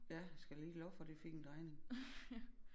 Ja skal da lige love for det fik en drejning